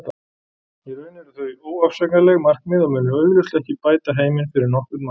Í raun eru þau óafsakanleg markmið og munu augljóslega ekki bæta heiminn fyrir nokkurn mann.